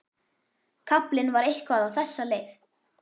Kaflinn var eitthvað á þessa leið: